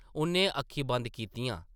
उʼन्नै अक्खीं बंद कीतियां ।